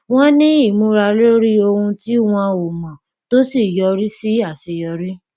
wọn ní ìmúra lórí ohun tí wọn ò mọ tó yọrí sí aṣeyọrí